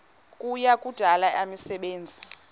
kuya kudala imisebenzi